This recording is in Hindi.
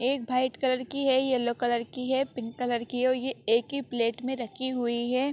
एक व्हाइट कलर की है येल्लो कलर की है पिंक कलर की है और ये एकही प्लेट में रखी हुई है।